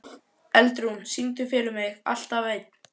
Eldrún, syngdu fyrir mig „Alltaf einn“.